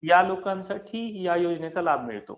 या लोकांसाठी या योजनेचा लाभ मिळतो.